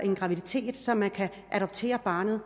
en graviditet så man kan adoptere barnet